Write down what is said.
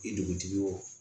I dugutigi yo